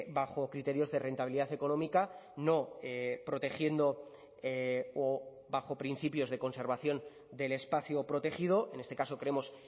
bajo criterios de rentabilidad económica no protegiendo o bajo principios de conservación del espacio protegido en este caso creemos